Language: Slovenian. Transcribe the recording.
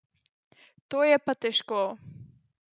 To je pa težko.